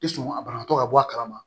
I sɔn a banakɔ ka bɔ a kalama